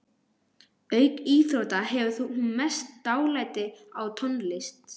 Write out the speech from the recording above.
Auk íþrótta hefur hún mest dálæti á tónlist.